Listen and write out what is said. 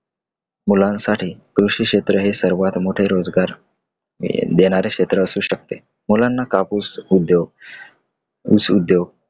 मुलांसाठी कृषी क्षेत्र हे सर्वात मोठे रोजगार देणारे क्षेत्र असू शकते. मुलांना कापूस उद्योग, ऊस उद्योग